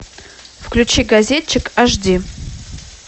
включи газетчик аш ди